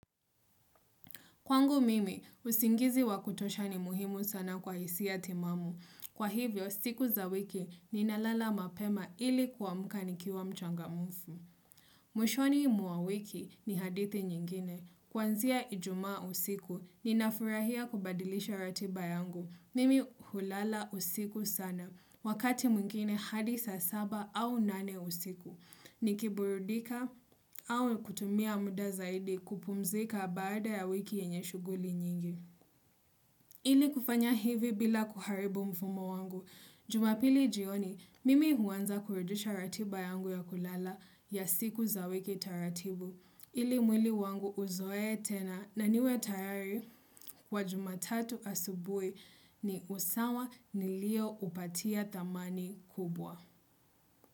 Kwangu mimi, usingizi wa kutosha ni muhimu sana kwa hisia timamu. Kwa hivyo, siku za wiki ninalala mapema ili kuamka nikiwa mchangamufu. Mwishoni mwa wiki ni hadithi nyingine. Kuanzia ijuma usiku ninafurahia kubadilisha ratiba yangu. Mimi hulala usiku sana. Wakati mwingine hadi saa saba au nane usiku. Ni kiburudika au kutumia muda zaidi kupumzika baada ya wiki yenye shuguli nyingi. Ili kufanya hivi bila kuharibu mfumo wangu. Jumapili jioni, mimi huanza kurejesha ratiba yangu ya kulala ya siku za wiki taratibu. Ili mwili wangu uzoe tena na niwe tayari kwa jumatatu asubui ni usawa nilio upatia thamani kubwa.